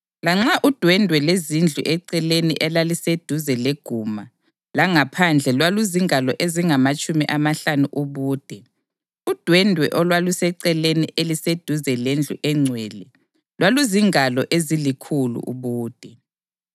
Lanxa udwendwe lwezindlu eceleni elaliseduze leguma langaphandle lwaluzingalo ezingamatshumi amahlanu ubude, udwendwe olwaluseceleni eliseduze lendlu engcwele lwaluzingalo ezilikhulu ubude.